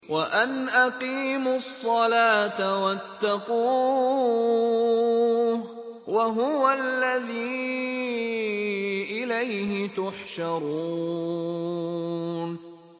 وَأَنْ أَقِيمُوا الصَّلَاةَ وَاتَّقُوهُ ۚ وَهُوَ الَّذِي إِلَيْهِ تُحْشَرُونَ